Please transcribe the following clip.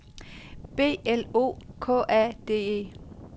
B L O K A D E